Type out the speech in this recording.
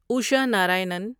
Isha Narayanan